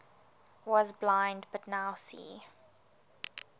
was blind but now see